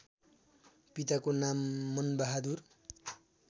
पिताको नाम मनबहादुर